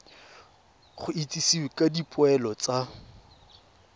go itsisiwe ka dipoelo tsa